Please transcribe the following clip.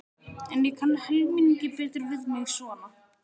En ég kann helmingi betur við mig svona.